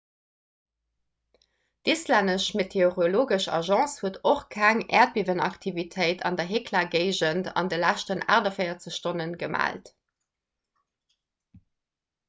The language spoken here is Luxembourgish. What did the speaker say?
d'islännesch meteorologesch agence huet och keng äerdbiewenaktivitéit an der hekla-géigend an de leschten 48 stonne gemellt